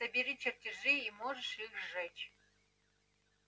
собери чертежи и можешь их сжечь